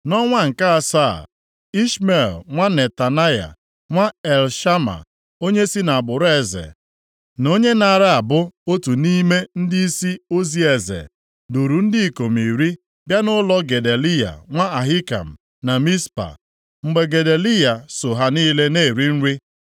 Nʼọnwa nke asaa, Ishmel nwa Netanaya, nwa Elishama, onye si nʼagbụrụ eze, na onye naara abụ otu nʼime ndịisi ozi eze, duuru ndị ikom iri bịa nʼụlọ Gedaliya nwa Ahikam na Mizpa. Mgbe Gedaliya soo ha niile na-eri nri,